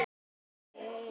Hvenær varðstu eldsins var?